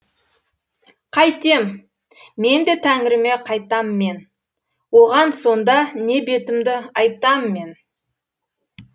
қайтем мен де тәңіріме қайтам мен оған сонда не бетімді айтам мен